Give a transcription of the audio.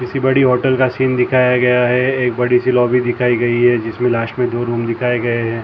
सी बड़ी होटल का सीन दिखाया गया है एक बड़ी सी लॉबी दिखाई गई है जिसमें लास्ट में दो रूम दिखाए गए हैं।